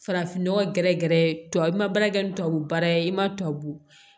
Farafin nɔgɔ gɛrɛgɛrɛ tubabu ma baara kɛ ni tubabu baara ye i ma tubabu